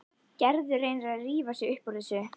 Gerður reynir að rífa sig upp úr þessu.